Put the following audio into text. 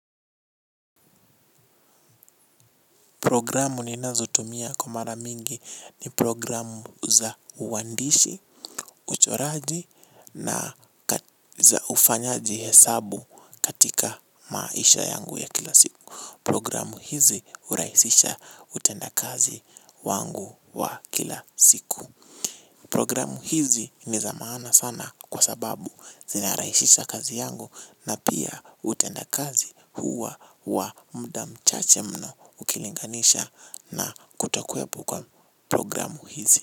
Programu ninazotumia kwa mara mingi ni programu za uwandishi, uchoraji na za ufanyaji hesabu katika maisha yangu ya kila siku. Programu hizi hurahisisha utendaji kazi wangu wa kila siku. Programu hizi ni za maana sana kwa sababu zina rahishisha kazi yangu na pia utendaji kazi huwa wa muda mchache mno ukilinganisha na kutokwepo kwa programu hizi.